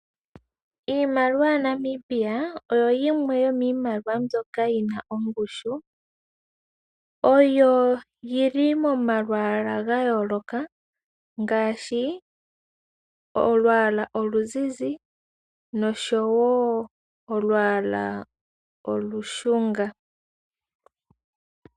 Iimaliwa yaNamibia oyo yimwe yomiimaliwa mbyoka yina ongushu. Oyo yili momalwaala ga yooloka ngaashi oluzuzi noshowo olushunga.